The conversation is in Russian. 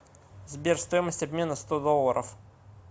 сбер стоимость обмена сто долларов